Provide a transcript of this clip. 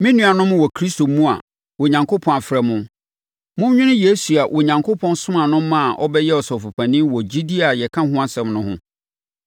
Me nuanom wɔ Kristo mu a Onyankopɔn afrɛ mo, monnwene Yesu a Onyankopɔn somaa no maa ɔbɛyɛɛ Ɔsɔfopanin wɔ gyidie a yɛka ho asɛm no ho.